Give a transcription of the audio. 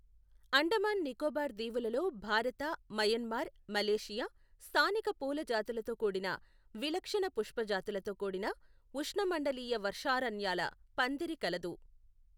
అండమాన్ నికోబార్ దీవులలో భారత, Myanmar, Malaysia, స్థానిక పూల జాతులతో కూడిన విలక్షణ పుష్పజాతులతో కూడిన ఉష్ణమండలీయ వర్షారణ్యాల పందిరి కలదు.